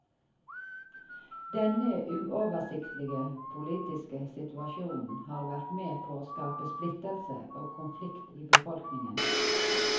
Denne uoversiktlige politiske situasjonen har vært med på å skape splittelse og konlikt i befolkningen.